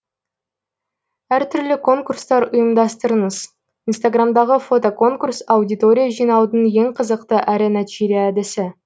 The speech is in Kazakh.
әртүрлі конкурстар ұйымдастырыңыз инстаграмдағы фотоконурс аудитория жинаудың ең қызықты әрі нәтижелі әдісі